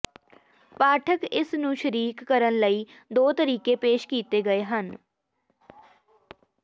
ਪਾਠਕ ਇਸ ਨੂੰ ਸ਼ਰੀਕ ਕਰਨ ਲਈ ਦੋ ਤਰੀਕੇ ਪੇਸ਼ ਕੀਤੇ ਗਏ ਹਨ